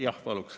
Jah, paluks.